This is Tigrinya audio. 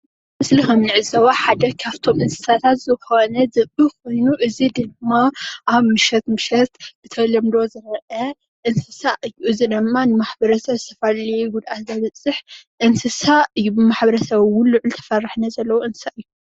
ኣብዚ ምስሊ ከም እንዕዘቦ ሓደ ካብቶም እንስሳታት ዝብኢ ዝኮኑ እዚ ድማ ኣብ ምሸት ምሸት ብተለምዶ ዝረአ እንስሳ እዩ፡፡ እዚ ድማ ኣብ ማሕበረሰብ ዝተፈላለዩ ጉድኣት ዘብፅሕ እንስሳ እዩ፡፡ ብማሕበረሰብ እውን ልዑል ተፈራሕነት ዘለዎ እንስሳ እዩ፡፡